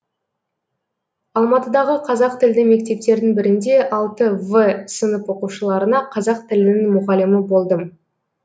алматыдағы қазақ тілді мектептердің бірінде алты в сынып оқушыларына қазақ тілінің мұғалімі болдым